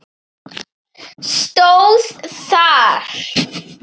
stóð þar.